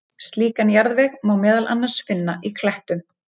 slíkan jarðveg má meðal annars finna í klettum